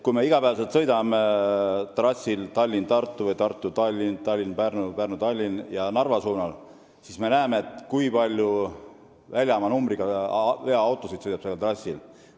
Kui me sõidame trassil Tallinn–Tartu, Tartu–Tallinn, Tallinn–Pärnu, Pärnu–Tallinn või Narva suunal, siis me näeme, kui palju väljamaa numbriga veoautosid sõidab sellel trassil.